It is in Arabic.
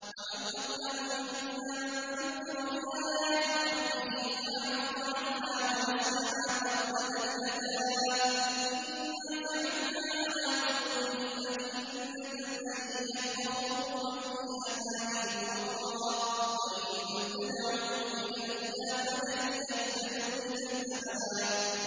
وَمَنْ أَظْلَمُ مِمَّن ذُكِّرَ بِآيَاتِ رَبِّهِ فَأَعْرَضَ عَنْهَا وَنَسِيَ مَا قَدَّمَتْ يَدَاهُ ۚ إِنَّا جَعَلْنَا عَلَىٰ قُلُوبِهِمْ أَكِنَّةً أَن يَفْقَهُوهُ وَفِي آذَانِهِمْ وَقْرًا ۖ وَإِن تَدْعُهُمْ إِلَى الْهُدَىٰ فَلَن يَهْتَدُوا إِذًا أَبَدًا